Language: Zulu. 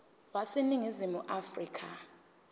wase ningizimu afrika